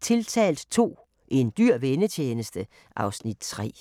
00:00: Tiltalt II – En dyr vennetjeneste (Afs. 3)*